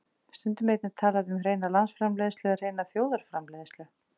Stundum er einnig talað um hreina landsframleiðslu eða hreina þjóðarframleiðslu.